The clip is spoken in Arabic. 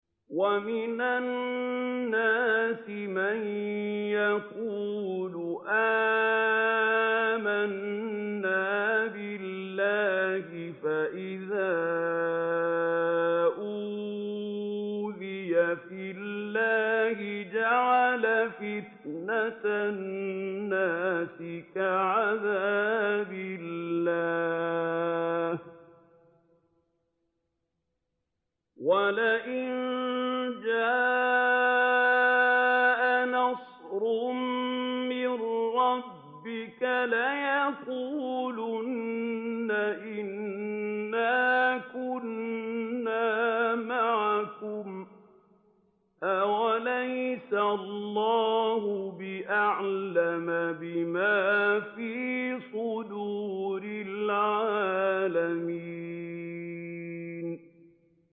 وَمِنَ النَّاسِ مَن يَقُولُ آمَنَّا بِاللَّهِ فَإِذَا أُوذِيَ فِي اللَّهِ جَعَلَ فِتْنَةَ النَّاسِ كَعَذَابِ اللَّهِ وَلَئِن جَاءَ نَصْرٌ مِّن رَّبِّكَ لَيَقُولُنَّ إِنَّا كُنَّا مَعَكُمْ ۚ أَوَلَيْسَ اللَّهُ بِأَعْلَمَ بِمَا فِي صُدُورِ الْعَالَمِينَ